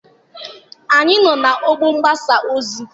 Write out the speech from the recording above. Anyị nọ n'ọgbọ mgbasa ozi